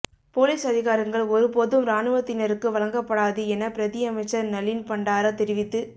police அதிகாரங்கள் ஒருபோதும் இராணுவத்தினருக்கு வழங்கப்படாது என பிரதியமைச்சர் நளின் பண்டார தெரிவித்து